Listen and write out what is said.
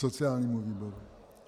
Sociálnímu výboru.